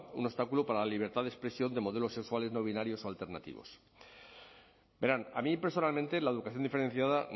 un obstáculo para la libertad de expresión de modelos sexuales no binarios o alternativos verán a mí personalmente la educación diferenciada